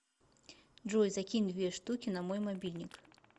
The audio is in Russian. джой закинь две штуки на мой мобильник